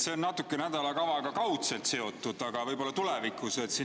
See on nädalakavaga kaudselt seotud, aga võib-olla tulevikus.